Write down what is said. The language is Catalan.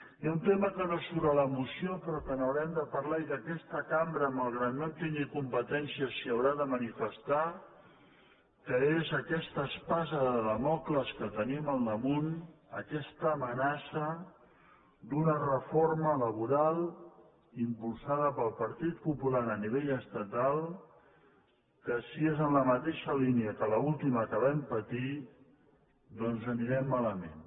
hi ha un tema que no surt a la moció però que n’hau·rem de parlar i que aquesta cambra malgrat que no en tingui competències s’hi haurà de manifestar que és aquesta espasa de dàmocles que tenim al damunt aquesta amenaça d’una reforma laboral impulsada pel partit popular a nivell estatal que si és en la mateixa línia de l’ultima que vam patir doncs anirem mala·ment